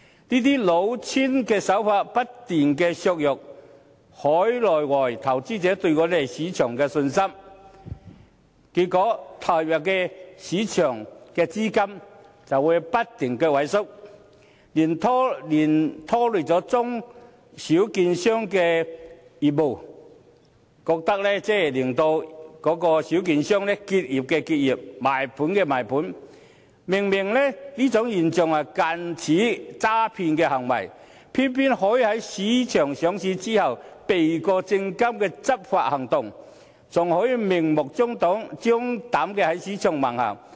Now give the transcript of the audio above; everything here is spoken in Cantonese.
這些老千手法不斷削弱海內外投資者對香港市場的信心，結果投入市場的資金不斷萎縮，拖累中小券商的業務，令小券商不是結業便是賣盤，明明這是近似詐騙的行為，偏偏可以在公司上市後，避過證監會的執法行動，還可以明目張膽地在市場橫行。